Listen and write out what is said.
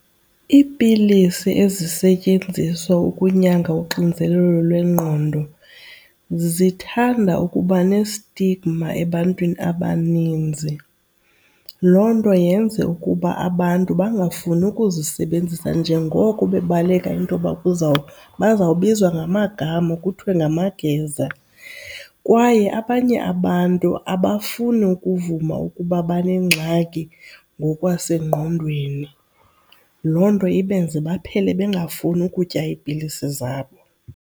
Iipilisi ezisetyenziswa ukunyanga uxinzelelo lwengqondo zithanda ukuba ne-stigma ebantwini abaninzi. Loo nto yenze ukuba abantu bangafuni ukuzisebenzisa njengoko bebaleka intoba baza kubizwa ngamagama kuthiwe ngamageza. Kwaye abanye abantu abafuni ukuvuma ukuba banengxaki ngokwasengqondweni loo nto ibenze baphele bengafuni ukutya iipilisi zabo.